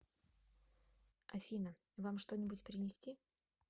афина вам что нибудь принести